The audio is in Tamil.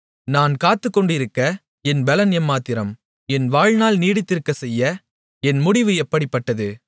நான் காத்துக்கொண்டிருக்க என் பெலன் எம்மாத்திரம் என் வாழ்நாள் நீடித்திருக்கச் செய்ய என் முடிவு எப்படிப்பட்டது